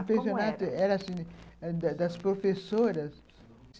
Como era? O pensionato era assim, das professoras.